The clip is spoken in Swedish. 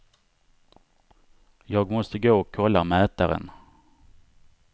Jag måste gå och kolla mätaren.